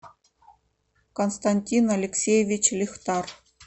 константин алексеевич лихтар